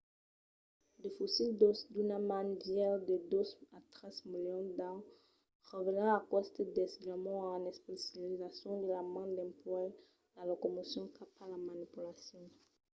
de fossils d'òsses d'una man vièlhs de dos milions a tres milions d’ans revèlan aqueste desviament en especializacion de la man dempuèi la locomocion cap a la manipulacion